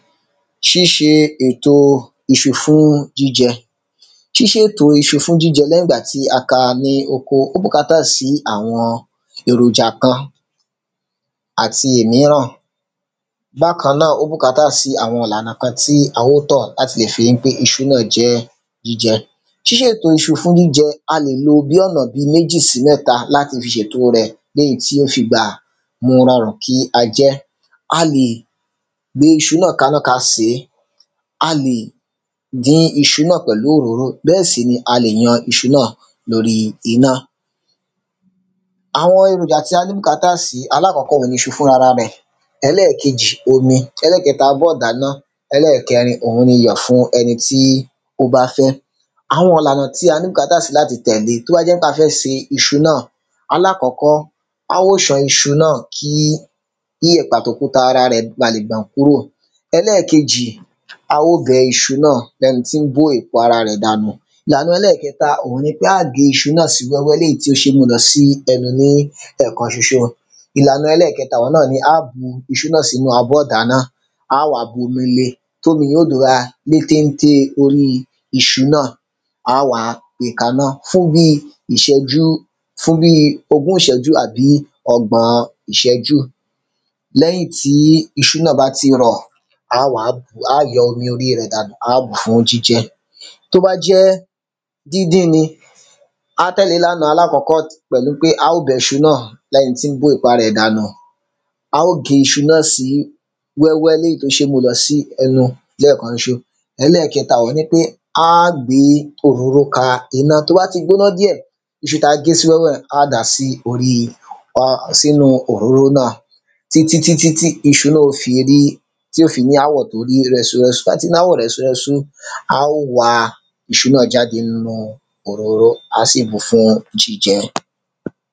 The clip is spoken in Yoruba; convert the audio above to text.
ṣíse èto iṣu fún jíjẹ. ṣíṣèto iṣu fún jíjẹ lẹ́yìn ìgbà tí a ka ní oko, ó bùkátà sí àwọn èròjà kan àti èmíràn. bákan náà, ó bùkátà sí àwọn ìlànà kan tí a ó tọ̀ láti lè fi ípé iṣu náà jẹ́ jíjẹ. ṣíṣèto iṣu fún jíjẹ, a lè lo bí ọ̀nà bíi mẹ́jì sí mẹ́ta láti fi ṣèto rẹ̀ léyìí tí ó fi gbà mu rọràn kí a jẹ́. a lè gbé iṣu náà kaná ka sèé, a lè dín iṣu náà pẹ̀lú òróró, bẹ́ẹ̀sì ni a lè yan iṣu náà lóri iná. àwọn eròjà tí a ní bùkátà sí, alákọ́kọ́ òun ni iṣu fúnrarẹ̀, ẹlẹ́kejì, òun ni omí, ẹlẹ́kẹta, abọ́ ìdàná, ẹlẹ́kẹrin, òun ni iyọ̀ fún ẹni tí ó bá fẹ́. àwọn ìlànà tí a ní bùkátà sí láti tẹ̀le tó bá jẹ́ pé a fẹ́ se iṣu náà. alákọ́kọ́, a ó san iṣu náà kí yẹ̀pẹ̀ àtòkúta rẹ̀ ba lè gbọ̀n kúrò. ẹlẹ́kejì, a ó bẹ iṣu náà bẹ́ni tín bó èpo ara rẹ̀ dànù. ìlàna ẹlẹ́kẹta, òun ni pé á gé iṣu náà sí wẹ́wẹ́ léyìí tí ó ṣe ń mú lọ sí ẹ́nu ní ẹ̀kanṣoṣo. ìlàna ẹlẹ́kẹta, òun náà ni á bu iṣu náà sínu abọ́ ìdáná, á wá bómile tómi yẹn ó dọra lé téntée orí iṣu náà, á wá gbe kaná fún bíi ìṣẹ́jú, fún bíi ogún ìṣẹ́jú àbí ọgbọ̀n-ọn ìṣẹ́jú. léyìn tí iṣu náà bá ti rọ̀, á wá bùú, á yọ́ omi oríi rẹ̀ dànù, á bùú fún jíjẹ. tó bá jẹ́ díndín ni, á tẹ̀lé ìlàna alákọ́kọ́ pẹ̀lu pé a ó bẹṣu náà lẹ́ni tín bó èpo ara ẹ̀ dànù, a ó gé iṣu náà sí wẹ́wẹ́ léyìí tó ṣeé mú lọ sí ẹnu lẹ́ẹ̀kanṣoṣo. ẹlẹ́kẹta, òun ní pé, á à gbé òróró ka iná, tó bá ti gbóná díẹ̀, iṣu ta gé sí wẹ́wẹ́ un, á dàá sí oríi sínu òróró náà. títítítí tí iṣu náà ó fi rí, tí ó fi ní áwọ̀ tó rí rẹ́súrẹ́sú, tí ó bá ti ní áwọ̀ rẹ́súrẹ́sú, a ó wa iṣu náà jáde nínu òróró, á sì mu fún jíjẹ.